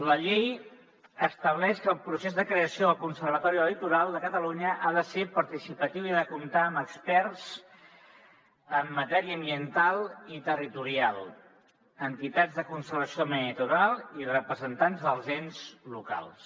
la llei estableix que el procés de creació del conservatori del litoral de catalunya ha de ser participatiu i ha de comptar amb experts en matèria ambiental i territorial entitats de conservació del medi natural i representants dels ens locals